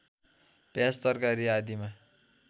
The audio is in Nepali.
प्याज तरकारी आदिमा